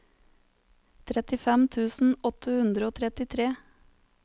trettifem tusen åtte hundre og trettitre